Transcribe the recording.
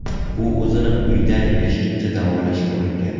U o‘zini uyda yashirincha davolashga uringan.